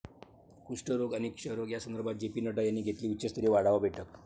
कुष्ठरोग आणि क्षयरोग या संदर्भात जे. पी. नड्डा यांनी घेतली उच्चस्तरीय आढावा बैठक